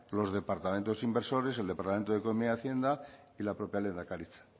los departamentos inversores el departamento de economía y hacienda y la propia lehendakaritza